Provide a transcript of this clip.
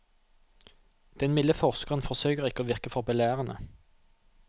Den milde forskeren forsøker å ikke virke for belærende.